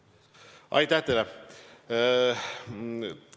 Aitäh teile!